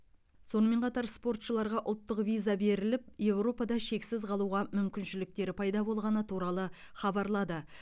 сонымен қатар спортшыларға ұлттық виза беріліп еуропада шексіз қалуға мүмкіншіліктері пайда болғаны туралы хабарлады